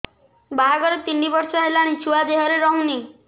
ବାହାଘର ତିନି ବର୍ଷ ହେଲାଣି ଛୁଆ ଦେହରେ ରହୁନି